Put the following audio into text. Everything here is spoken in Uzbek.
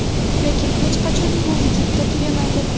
lekin hech qachon bu vujudda tugamaydi.